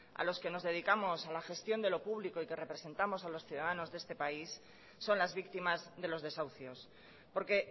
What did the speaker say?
a los que nos dedicamos a la gestión de lo público y que representamos a los ciudadanos de este país son las víctimas de los desahucios porque